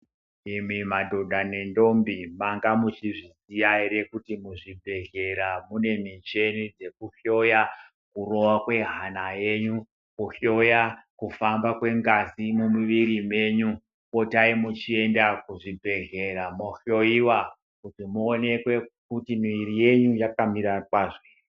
Imi madhodha nendombo manga muchizviziya ere kuti muzvibhedhlera mune micheni dzekuhloya kurova kwehana yenyu. Kuhloya kufamba kwengazi mumwiri menyi potai muchienda muzvibhedghlera mohloiwa kuti muonekwe kuti mwiri yenyi yaka mira kwazvo ere.